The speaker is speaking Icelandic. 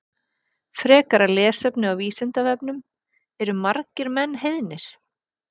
Frekara lesefni á Vísindavefnum Eru margir menn heiðnir?